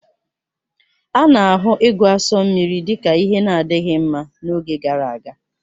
A na-ahụ ịgu asụ mmiri dị ka ihe na-adịghị mma n'oge gara aga